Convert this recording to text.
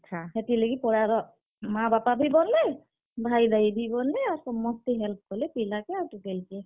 ହେତିର୍ ଲାଗି, ପଡାର୍ ମାଁ, ବାପା ବି ବନ୍ ଲେ, ଭାଇ-ଭାଇ ବି ବନ୍ ଲେ ଆଉ ସମସ୍ତେ help କଲେ ପିଲା କେ ଆର୍ ଟୁକେଲ୍ କେ।